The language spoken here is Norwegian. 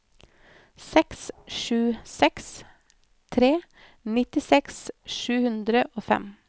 seks sju seks tre nittiseks sju hundre og fem